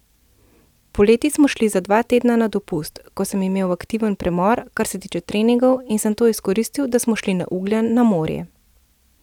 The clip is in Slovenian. Poleti smo šli za dva tedna na dopust, ko sem imel aktiven premor, kar se tiče treningov, in sem to izkoristil, da smo šli na Ugljan na morje.